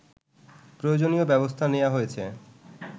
প্রয়োজনীয় ব্যাবস্থা নেয়া হয়েছে